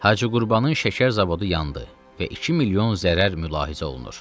Hacı Qurbanın şəkər zavodu yandı və 2 milyon zərər mülahizə olunur.